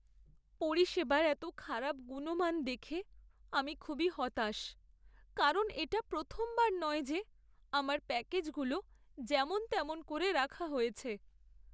পরিষেবার এতো খারাপ গুণমান দেখে আমি খুবই হতাশ, কারণ এটা প্রথমবার নয় যে আমার প্যাকেজগুলো যেমন তেমন করে রাখা হয়েছে!